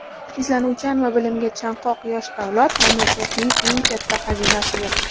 Izlanuvchan va bilimga chanqoq yosh avlod mamlakatning eng katta xazinasidir.